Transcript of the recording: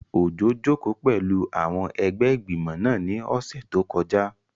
Òjó jòkó pẹ̀lú àwọn ẹgbẹ́ ìgbìmọ̀ náà ní ọ̀sẹ̀ tó kọjá